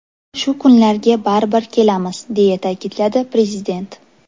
Shu kunlarga baribir kelamiz”, deya ta’kidladi Prezident.